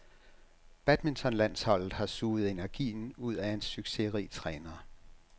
Badmintonlandsholdet har suget energien ud af en succesrig træner.